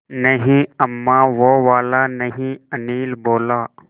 नहीं अम्मा वो वाला नहीं अनिल बोला